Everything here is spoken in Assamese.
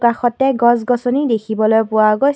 কাষতে গছ গছনী দেখিবলৈ পোৱা গৈছ--